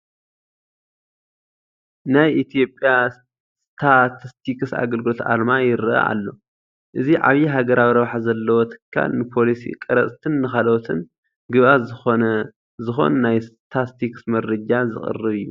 ናይ ኢትዮጵያ ስታትስቲክስ ኣገልግሎት ኣርማ ይርአ ኣሎ፡፡ እዚ ዓብዪ ሃገራዊ ረብሓ ዘለዎ ትካል ንፖሊሲ ቀረፅትን ንካልኦትን ግብኣት ዝኾን ናይ ስታስቲክስ መረጃ ዘቕርብ እዩ፡፡